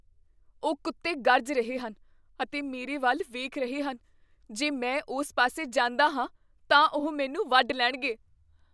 ਉਹ ਕੁੱਤੇ ਗਰਜ ਰਹੇ ਹਨ ਅਤੇ ਮੇਰੇ ਵੱਲ ਵੇਖ ਰਹੇ ਹਨ। ਜੇ ਮੈਂ ਉਸ ਪਾਸੇ ਜਾਂਦਾ ਹਾਂ ਤਾਂ ਉਹ ਮੈਨੂੰ ਵੱਢ ਲੈਣਗੇ।